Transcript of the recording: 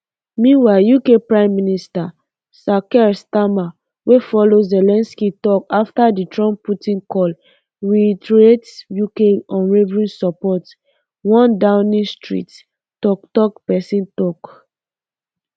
meanwhile uk prime minister sir keir starmer wey follow zelensky tok afta di trumpputin call reiterate uk unwavering support um one downing street toktok pesin tok